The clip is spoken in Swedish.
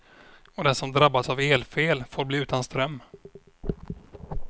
Och den som drabbas av elfel får bli utan ström.